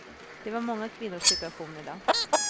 Det var många kvinnors situation i dag.